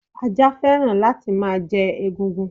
Ajá fẹ́ràn láti má jẹ egungun